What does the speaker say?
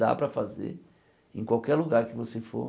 Dá para fazer em qualquer lugar que você for.